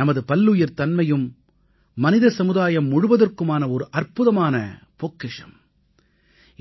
நமது பல்லுயிர்த்தன்மையும் மனித சமுதாயம் முழுவதற்குமான ஒரு அற்புதமான பொக்கிஷம்